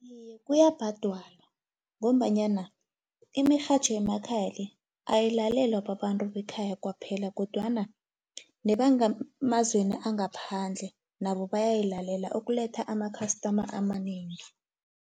Iye, kuyabhadalwa ngombanyana imirhatjho yemakhaya le, ayilalelwa babantu bekhaya kwaphela, kodwana nebange emazweni angaphandle nabo bayayilalela ukuletha ama-customer amanengi.